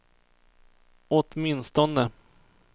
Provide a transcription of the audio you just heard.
åtminstone